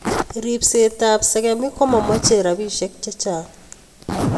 Ripset ap sagamik ko momoche rspisyek che chang'